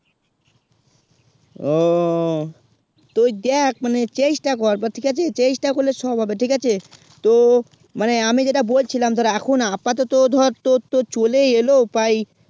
উহ তৈরি দেখ মানে চেষ্টা কর but ঠিক আছে চেষ্টা করলে সব হবে ঠিক আছে তো মানে আমি যেটা বল ছিলাম ধর এখন আপ্তে তো ধর তোর চলে ই এলো উপায়